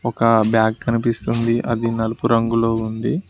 ఒక బ్యాగ్ కనిపిస్తుంది అది నలుపు రంగులో ఉంది.